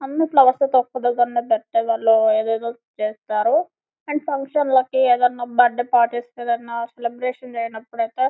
అని ఫ్లవర్స్ తో ఎదేదో చేస్తారు అండ్ ఫంక్షన్ లకి ఏదైనా బర్త్‌డే పార్టీస్ కి ఏదైనా సెలెబ్రేషన్స్ అయ్యినపుడైతే --